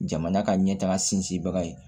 Jamana ka ɲɛtaga sinsinbaga ye